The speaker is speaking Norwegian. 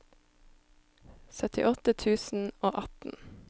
syttiåtte tusen og atten